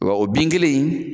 Wa o bin kelen in